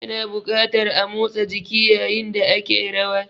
Ana buƙatar a motsa jiki yayin da ake rawa.